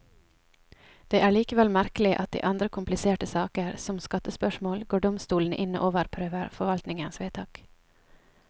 Det er likevel merkelig at i andre kompliserte saker, som skattespørsmål, går domstolene inn og overprøver forvaltningens vedtak.